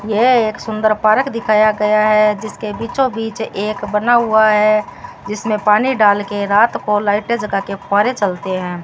यह एक सुंदर पार्क दिखाया गया है जिसके बीचों बीच एक बना हुआ है जिसमें पानी डाल के रात को लाइटें जगा के फुव्वारे चलते हैं।